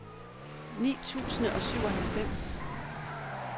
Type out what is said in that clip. ni tusind og syvoghalvfems